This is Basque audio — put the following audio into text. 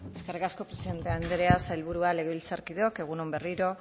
eskerrik asko presidenta andrea sailburua legebiltzarkideok egun on berriro